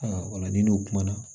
Aa ola ni n'o kuma na